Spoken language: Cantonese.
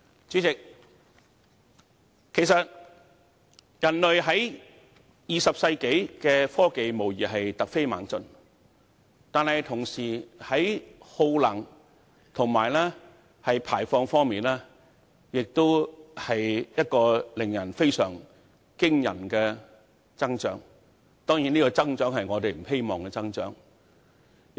主席，在20世紀，人類的科技無疑突飛猛進，但與此同時，我們的耗能和排放量的增長亦非常驚人，而這並非我們希望看到的增長。